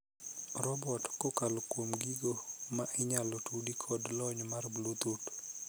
robot kokalo kuom gigo mainyalo tudi kod lony mar bluetooth